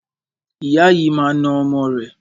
Ìyá yìí máa na ọmọ rẹ̀.